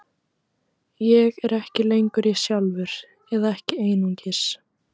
Ég er ekki lengur ég sjálfur, eða ekki einungis.